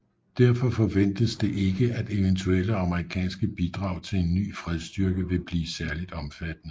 Derfor forventes det ikke at eventuelle amerikanske bidrag til en ny fredsstyrke vil blive særligt omfattende